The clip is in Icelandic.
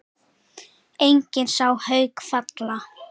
Enginn sá Hauk falla.